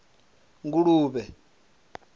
nguluvhe